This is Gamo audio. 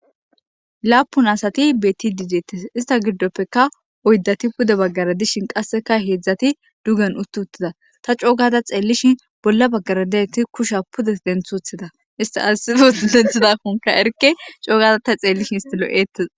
Laapun asati beetide deetes. Istta giddopekka oyddati pudde bagara dishin qassekka heezati duggen utti uttida. Ta coo gada xeelishin bolla bagara diyaiti kushiya pude denti uttida . Entti ayssi hessa oothidakkomka erikke co gada xeelishin istti lo7eetes.